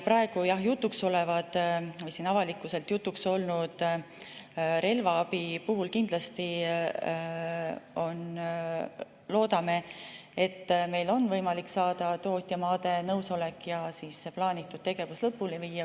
Praegu jutuks oleva või avalikkuses jutuks olnud relvaabi puhul me kindlasti loodame, et meil on võimalik saada tootjamaade nõusolek ja see plaanitud tegevus lõpule viia.